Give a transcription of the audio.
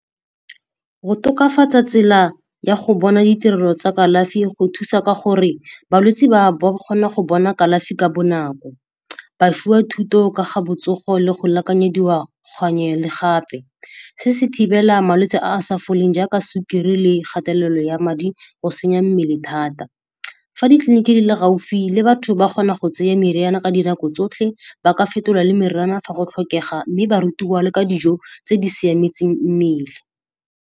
Go tokafatsa tsela ya go bona ditirelo tsa kalafi go thusa ka gore balwetse ba ba kgona go bona kalafi ka bonako. Ba fiwa thuto ka ga botsogo le go lekanyediwa gangwe le gape. Se se thibela malwetse a a sa foleng jaaka sukiri le kgatelelo ya madi go senya mmele thata. Fa ditleliniki di le gaufi le batho ba kgona go tseya meriana ka dinako tsotlhe, ba ka fetola le meriana fa go tlhokega. Mme barutiwa le ka dijo tse di siametseng mmele.